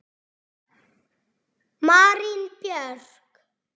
Marín Björk.